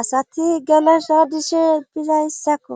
asati geleso dishe dizayssakko